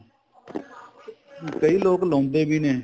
ਕਈ ਲੋਕ ਲਾਉਂਦੇ ਵੀ ਨੇ